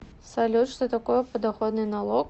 салют что такое подоходный налог